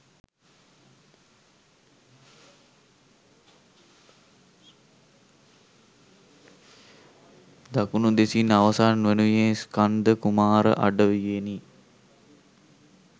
දකුණු දෙසින් අවසන් වනුයේ ස්කන්ධ කුමාර අඩවියෙනි